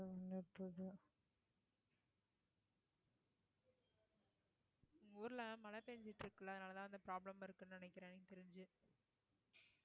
ஊர்ல எல்லாம் மழை பேஞ்சுட்டு இருக்குல்ல அதனால தான் problem இருக்குனு நினைக்கறேன் எனக்கு தெரிஞ்சு